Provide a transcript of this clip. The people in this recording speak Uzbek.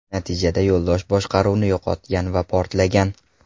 Natijada yo‘ldosh boshqaruvni yo‘qotgan va portlagan.